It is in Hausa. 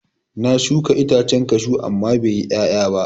Na shuka itacen kashu amma bai yi ƴaƴa ba.